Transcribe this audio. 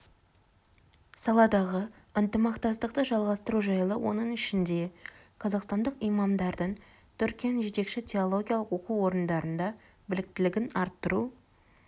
саладағы ынтымақтастықты жалғастыру жайлы оның ішінде қазақстандық имамдардың түркияның жетекші теологиялық оқу орындарында біліктілігін арттыру